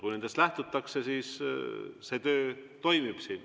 Kui nendest lähtutakse, siis see töö siin toimib.